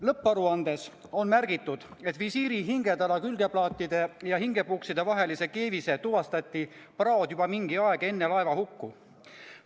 Lõpparuandes on märgitud, et visiiri hingetala külgplaatide ja hingepukside vahelises keevises tuvastati praod juba mingi aeg enne laevahukku.